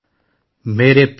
نئی دلی،29 جنوری، 2023 /